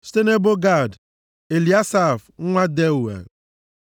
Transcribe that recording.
site nʼebo Gad, Eliasaf nwa Deuel